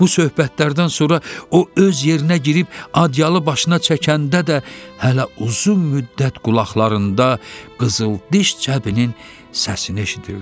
Bu söhbətlərdən sonra o öz yerinə girib adyalı başına çəkəndə də hələ uzun müddət qulaqlarında qızıldiş cəbinin səsini eşidirdi.